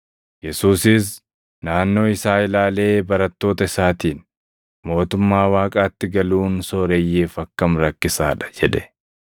Yesuusis naannoo isaa ilaalee barattoota isaatiin, “Mootummaa Waaqaatti galuun sooreyyiif akkam rakkisaa dha!” jedhe.